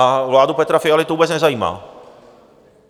A vládu Petra Fialy to vůbec nezajímá.